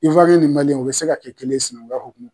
ni u be se ka kɛ kelen ye sinankukya hokumu kɔnɔna na.